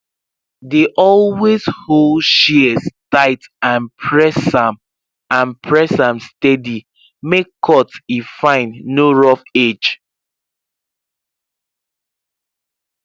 dey always hold shears tight and press am and press am steady make cut e fine no rough edge